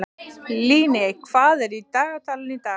Líney, hvað er í dagatalinu í dag?